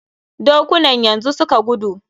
Dokunan yanzu suka gudu.